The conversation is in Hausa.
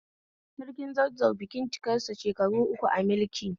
Sarki Zazzau bikin cikarsa shekaru uku a mulki